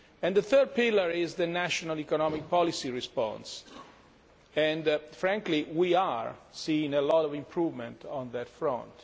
The third pillar is the national economic policy response and frankly we are seeing much improvement on that front.